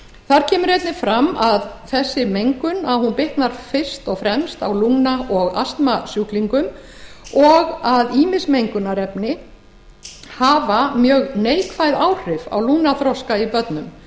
þar kemur einnig fram að þessi mengun bitnar fyrst og fremst á lungna og astmasjúklingum og að ýmis mengunarefni hafi mjög neikvæð áhrif á lungnaþroska í börnum